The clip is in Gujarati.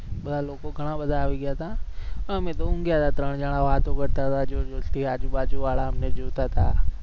બધા લોકો ઘણા બધા આવી ગયા હતા અમે તો ઉગ્યા હતા ત્રણ જણા વાતો કરતા હતા જોર જોર થી આજુબાજુ વાળા અમને જોતા હતા